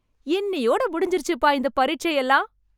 இன்னியோட முடிஞ்சுருச்சுப்பா இந்த பரீட்சை எல்லாம்.